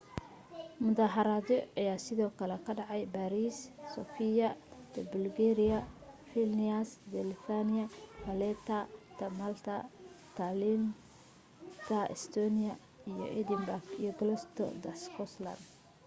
mudaharaado aya sidoo kale ka dhacay baariis sofia da bulgaria vilnius da lithuania valetta ta malta tallinn ta estonia iyo edinburgh iyo glasgow ta scotland